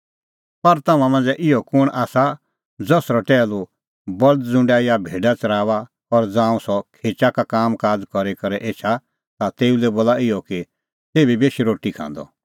पर तम्हां मांझ़ै इहअ कुंण आसा ज़सरअ टैहलू बल्द ज़ुंडा या भेडा च़राऊआ और ज़ांऊं सह खेचा का कामकाज़ करी करै एछा ता तेऊ लै बोला इहअ कि तेभी बेश रोटी खांदअ